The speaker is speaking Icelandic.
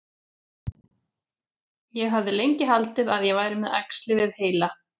Ég hafði lengi haldið að ég væri með æxli við heila.